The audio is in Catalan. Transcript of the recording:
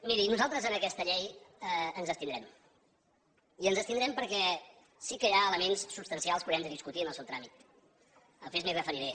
miri nosaltres en aquesta llei ens abstindrem i ens abstindrem perquè sí que hi ha elements substancials que haurem de discutir en el seu tràmit després m’hi referiré